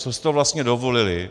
Co si to vlastně dovolili?